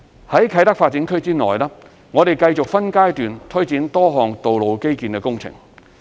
在啟德發展區內，我們繼續分階段推展多項道路基建工程。